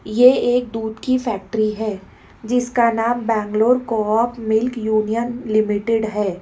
ये एक दूध की फैक्ट्री है जिसका नाम बेंगलुरु को आप मिल्क यूनियन लिमिटेड है।